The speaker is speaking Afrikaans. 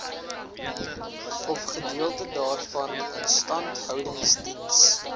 ofgedeelte daarvan instandhoudingsdiens